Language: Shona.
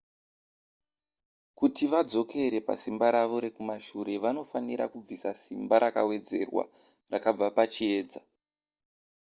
kuti vadzokere pasimba ravo rekumashure vanofanira kubvisa simba rakawedzerwa rakabva pachiedza